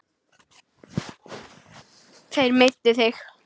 Þeir meiddu þig.